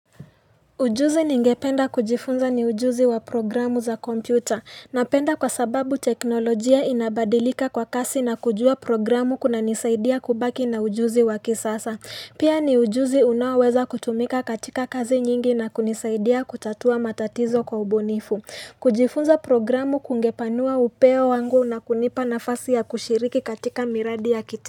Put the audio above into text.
Ujuzi ningependa kujifunza ni ujuzi wa programu za kompyuta, napenda kwa sababu teknolojia inabadilika kwa kasi na kujua programu kuna nisaidia kubaki na ujuzi wa kisasa. Pia ni ujuzi unaoweza kutumika katika kazi nyingi na kunisaidia kutatua matatizo kwa ubunifu. Kujifunza programu kungepanua upeo wangu na kunipa nafasi ya kushiriki katika miradi ya kiti.